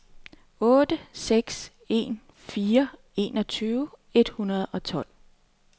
otte seks en fire enogtyve et hundrede og tolv